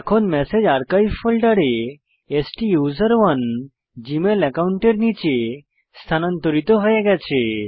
এখন message archive ফোল্ডারে স্টুসেরনে জীমেল একাউন্টের নীচে স্থানান্তরিত হয়ে গেছে